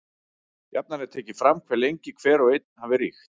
Jafnan er tekið fram hve lengi hver og einn hafi ríkt.